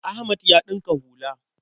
Ahmad ya ɗinka hula.